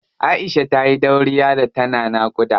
Aisha tayi dauriya sosai da tana naƙuda.